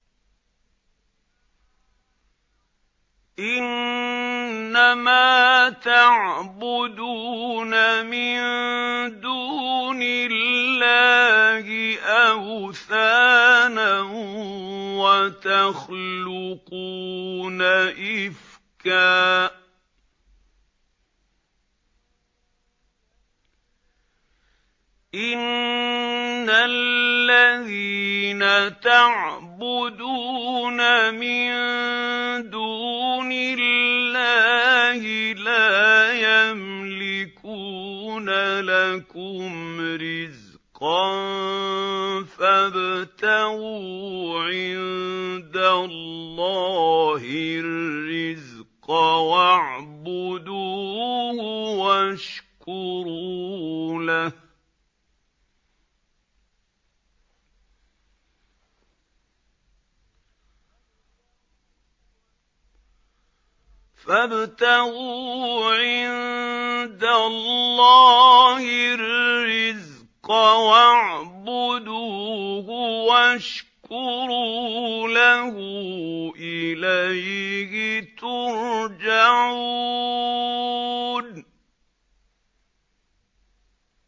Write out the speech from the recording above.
إِنَّمَا تَعْبُدُونَ مِن دُونِ اللَّهِ أَوْثَانًا وَتَخْلُقُونَ إِفْكًا ۚ إِنَّ الَّذِينَ تَعْبُدُونَ مِن دُونِ اللَّهِ لَا يَمْلِكُونَ لَكُمْ رِزْقًا فَابْتَغُوا عِندَ اللَّهِ الرِّزْقَ وَاعْبُدُوهُ وَاشْكُرُوا لَهُ ۖ إِلَيْهِ تُرْجَعُونَ